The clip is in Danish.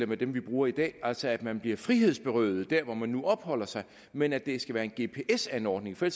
med dem vi bruger i dag altså at man bliver frihedsberøvet der hvor man nu opholder sig men at det skal være en gps anordning for